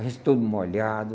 A gente todo molhado.